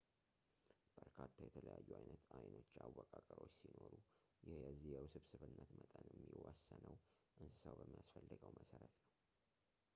በርካታ የተለያዩ አይነት የአይኖች አወቃቀሮች ሲኖሩ ይህ የዚህ የውስብስብነት መጠንም የሚወሰነው እንስሳው በሚያስፈልገው መሰረት ነው